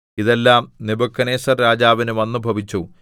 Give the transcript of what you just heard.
ഇതെല്ലാം നെബൂഖദ്നേസർരാജാവിന് വന്നുഭവിച്ചു